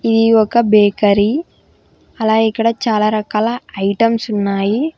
ఇది ఒక బేకరీ అలా ఇక్కడ చాలా రకాల ఐటమ్స్ ఉన్నాయి.